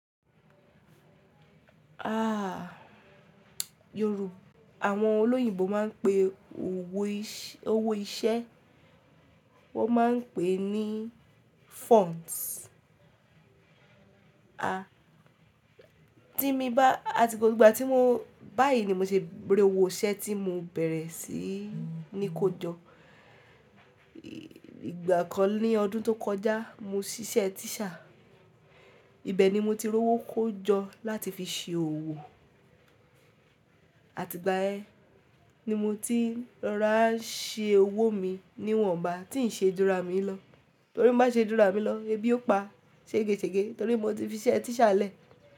Àwọn olóyìnbo máa ń pe owó iṣẹ́ wọn maa n pé ní funds. Àti gbogbo ìgbà tí báyìí ni mo ṣe gbé owó iṣẹ́ tí mo bẹ̀rẹ̀ sí ní kó jọ. Ìgbà kan ní ọdún tó kọjá mo ṣíṣe teacher. Ibẹ̀ ni mo ti rọ owó kó jọ láti fi ṣe òwò. Àti ìgbà yen ti mo ti rọra ṣe owó mi níwọ̀nba tí ń ṣe dúró à mí lọ. Torí n bá ṣe jú ranà mí lọ, ẹbí ó pa, ṣegèsegè. Torí mo ti fi ṣe teacher lẹ́ẹ̀.